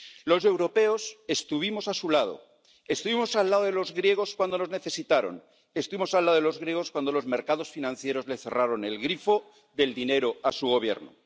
Los europeos estuvimos a su lado, estuvimos al lado de los griegos cuando nos necesitaron, estuvimos al lado de los griegos cuando los mercados financieros le cerraron el grifo del dinero a su Gobierno.